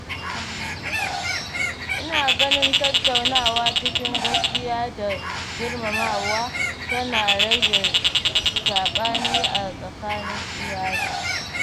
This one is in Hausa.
Ina ganin tattaunawa cikin gaskiya da girmamawa tana rage saɓani a tsakanin iyali.